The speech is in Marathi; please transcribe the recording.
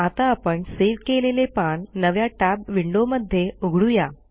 आता आपण सेव्ह केलेले पान नव्या टॅब विंडोमध्ये उघडू या